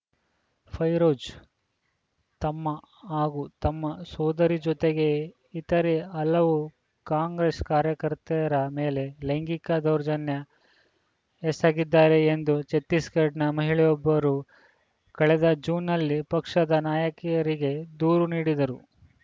ಫೈರೋಜ್‌ ತಮ್ಮ ಹಾಗೂ ತಮ್ಮ ಸೋದರಿ ಜೊತೆಗೆ ಇತರೆ ಹಲವು ಕಾಂಗ್ರೆಸ್‌ ಕಾರ್ಯಕರ್ತೆಯರ ಮೇಲೆ ಲೈಂಗಿಕ ದೌರ್ಜನ್ಯ ಎಸಗಿದ್ದಾರೆ ಎಂದು ಛತ್ತಿಸ್‌ಗಢನ ಮಹಿಳೆಯೊಬ್ಬರು ಕಳೆದ ಜೂನ್‌ನಲ್ಲಿ ಪಕ್ಷದ ನಾಯಕರಿಗೆ ದೂರು ನೀಡಿದ್ದರು